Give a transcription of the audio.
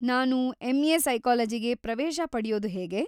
ನಾನು ಎಂ.ಎ. ಸೈಕಾಲಜಿಗೆ‌ ಪ್ರವೇಶ ಪಡ್ಯೋದು ಹೇಗೆ?